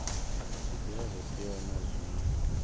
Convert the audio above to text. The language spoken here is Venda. zwiḽiwa zwo teaho na zwṅwe